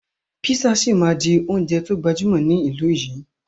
Písà síí máa di oúnjẹ to gbajúmọ̀ ní ìlú yìí.